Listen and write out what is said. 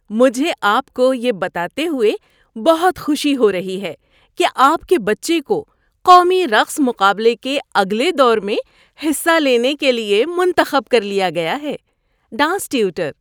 مجھے آپ کو یہ بتاتے ہوئے بہت خوشی ہو رہی ہے کہ آپ کے بچے کو قومی رقص مقابلے کے اگلے دور میں حصہ لینے کے لیے منتخب کر لیا گیا ہے۔ (ڈانس ٹیوٹر)